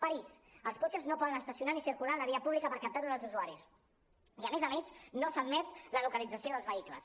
parís els cotxes no poden estacionar ni circular a la via pública per captar tots els usuaris i a més a més no s’admet la localització dels vehicles